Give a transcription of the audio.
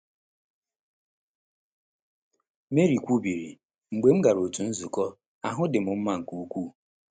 Marie kwubiri: “Mgbe m gara otu nzukọ, ahụ dị m mma nke ukwuu.”